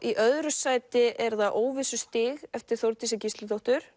í öðru sæti er það óvissustig eftir Þórdísi Gísladóttur